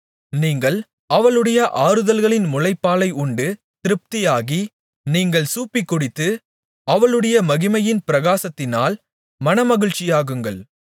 நீங்கள் அவளுடைய ஆறுதல்களின் முலைப்பாலை உண்டு திருப்தியாகி நீங்கள் சூப்பிக்குடித்து அவளுடைய மகிமையின் பிரகாசத்தினால் மனமகிழ்ச்சியாகுங்கள்